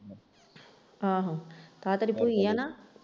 ਆਹੋ ਆਹ ਤੇਰੀ ਭੂਈ ਹੈ ਨਾ?